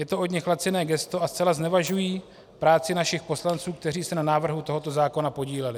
Je to od nich laciné gesto a zcela znevažují práci našich poslanců, kteří se na návrhu tohoto zákona podíleli.